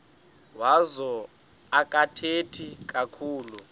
wazo akathethi kakhulu